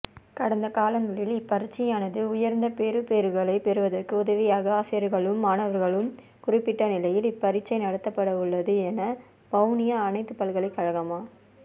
கடந்தகாலங்களில் இப்பரீட்சையானது உயர்ந்த பெறுபேறுகளை பெறுவதற்கு உதவியதாக ஆசிரியர்களும் மாணவர்களும் குறிப்பிட்ட நிலையில் இப்பரீட்சை நடத்தப்படவுள்ளது என வவுனியாஅனைத்துபல்கலைக்கழகமா